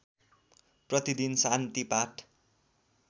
प्रतिदिन शान्ति पाठ